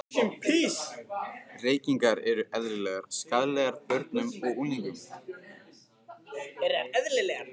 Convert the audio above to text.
Reykingar eru eðlilegar skaðlegar börnum og unglingum.